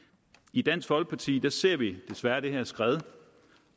i dansk folkeparti ser vi desværre det her skred